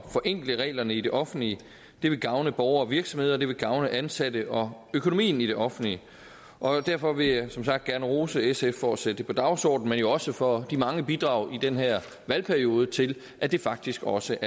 forenkle reglerne i det offentlige det vil gavne borgere og virksomheder og det vil gavne ansatte og økonomien i det offentlige derfor vil jeg som sagt gerne rose sf for at sætte det på dagsordenen men jo også for de mange bidrag i den her valgperiode til at det faktisk også